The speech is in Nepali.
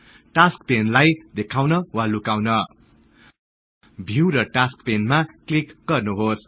टास्कस् पेनलाई देखाउन वा लुकाउन भिउ र टास्कस् पेनमा क्लिक गर्नुहोस्